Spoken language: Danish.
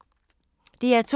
DR2